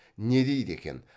не дейді екен